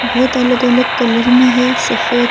بھوت الگ-الگ کلر مے ہے۔ سفید --